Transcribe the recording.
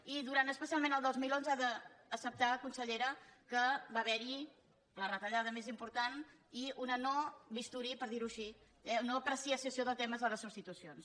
i durant especialment el dos mil onze ha d’acceptar consellera que va haver·hi la retalla·da més important i un no·bisturí per dir·ho així no·apreciació de temes a les substitucions